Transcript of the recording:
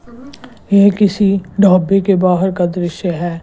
यह किसी ढाबे के बाहर का दृश्य है।